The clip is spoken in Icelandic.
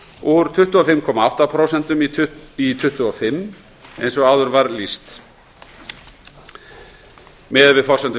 úr tuttugu og fimm komma átta prósent í tuttugu og fimm prósent eins og áður var lýst miðað við forsendur